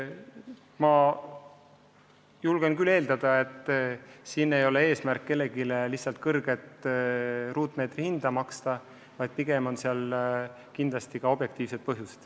Ma julgen küll eeldada, et eesmärk ei ole kellelegi lihtsalt kõrget ruutmeetri hinda maksta, pigem on mängus objektiivsed põhjused.